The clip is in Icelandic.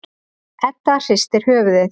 Edda hristir höfuðið.